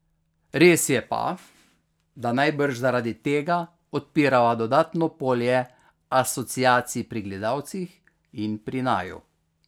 Res je pa, da najbrž zaradi tega odpirava dodatno polje asociacij pri gledalcih in pri naju.